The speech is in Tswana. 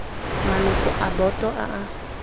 maloko a boto a a